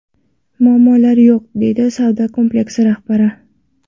Muammolari yo‘q”, – deydi savdo kompleksi rahbari.